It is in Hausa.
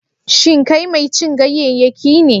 Shin kai mai cin ganyayyaki ne?